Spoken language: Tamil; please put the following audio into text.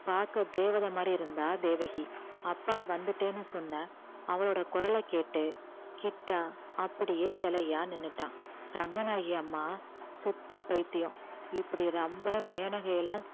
பார்க்க தேவதை மாதிரி இருந்தா தேவகி அப்பா வந்துட்டேன்னு சொன்ன அவளோட குரலைக் கேட்டு கிட்டா அப்படியே சிலையா நின்னுட்டான் ரங்கநாயகி அம்மா சுத்த பைத்தியம் இப்படி ரம்பா, மேனகை எல்லாம்